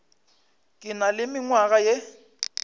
ke na le mengwaga ye